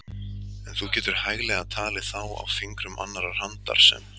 En þú getur hæglega talið þá á fingrum annarrar handar sem